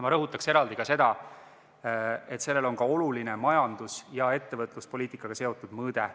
Ma rõhutan eraldi veel seda, et sellel on ka oluline majandus- ja ettevõtluspoliitikaga seotud mõõde.